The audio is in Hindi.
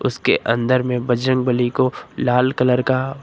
उसके अंदर में बजरंगबली को लाल कलर का--